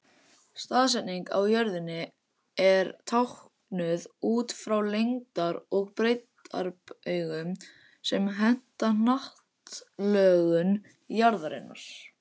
Staðsetning á jörðunni er táknuð út frá lengdar- og breiddarbaugum sem henta hnattlögun jarðarinnar.